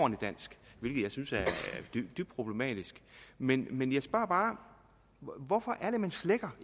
dansk hvilket jeg synes er dybt problematisk men men jeg spørger bare hvorfor er det man slækker